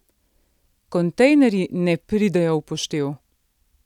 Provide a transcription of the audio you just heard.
Kontejnerji ne pridejo v poštev!